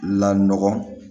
La nɔgɔ